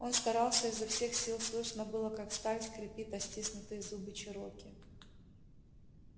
он старался изо всех сил слышно было как сталь скрипит о стиснутые зубы чероки